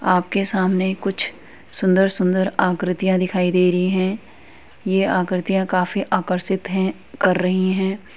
आपके सामने कुछ सुंदर-सुंदर आक्रतिया दिखाई दे रही हैं। यह आक्रतिया काफी आकर्षित हैं कर रही हैं |